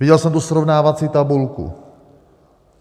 Viděl jsem tu srovnávací tabulku.